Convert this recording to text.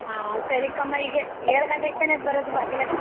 ಹಾ ಸರಿ ಕಮ್ಮ ಈಗೇಷ್ಟ್ ಏಳ್ ಗಂಟೆಗೆ ತಾನೇ ಬರೋದು ಭಾಗ್ಯ ಲಕ್ಷ್ಮೀ?